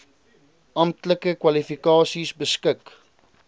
amptelike kwalifikasies beskik